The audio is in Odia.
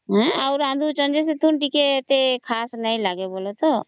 ଆଉ ରାନ୍ଧୁଚନ ଯେ ଏତେ ଖାସ ନାଇଁ ଲାଗୁଛନ